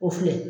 O filɛ